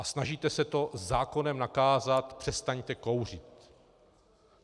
A snažíte se to zákonem nakázat: přestaňte kouřit.